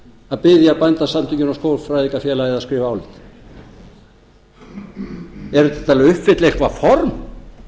að biðja bændasamtökin og skógfræðingafélagið að skrifa ályktun er það til að uppfylla eitthvað form